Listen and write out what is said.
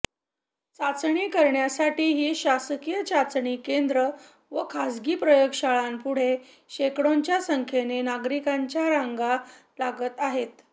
चाचणी करण्यासाठीही शासकीय चाचणी केंद्रे व खासगी प्रयोगशाळांपुढे शेकडोंच्या संख्येने नागरिकांच्या रांगा लागत आहेत